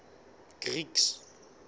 greeks